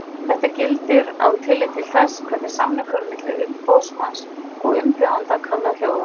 Þetta gildir án tillits til þess hvernig samningur milli umboðsmanns og umbjóðanda kann að hljóða.